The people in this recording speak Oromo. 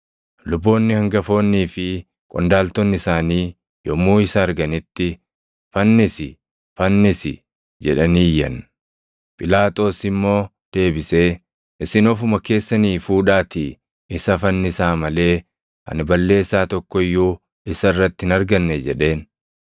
Luboonni hangafoonnii fi qondaaltonni isaanii yommuu isa arganitti, “Fannisi! Fannisi!” jedhanii iyyan. Phiilaaxoos immoo deebisee, “Isin ofuma keessanii fuudhaatii isa fannisaa malee ani balleessaa tokko iyyuu isa irratti hin arganne” jedheen.